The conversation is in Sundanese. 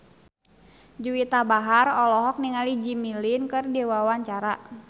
Juwita Bahar olohok ningali Jimmy Lin keur diwawancara